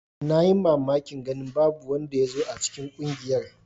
Na yi mamakin ganin babu wanda ya zo a cikin ƙungiyar.